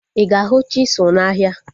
Ịga ahu chisụl na ahia